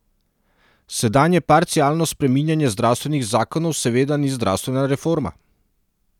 Sedanje parcialno spreminjanje zdravstvenih zakonov seveda ni zdravstvena reforma.